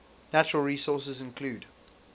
natural resources include